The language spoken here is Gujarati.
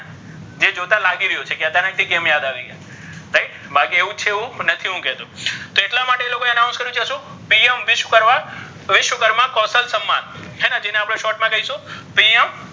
જે જોતા લાગી રહ્યુ છે કે અચાનક કેમ યાદ આવી ગયા right બાકી એવુ જ છે એવુ પણ નથી કહેતો તો ઍટલા માટે ઍ લોકો ઍ announce કર્યુ છે શુ કરવા વિશ્વકર્મા કૌશલ સન્માન્ હે ને જેને આપણે short મા કરીશુ .